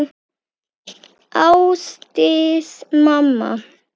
Ásdís mamma.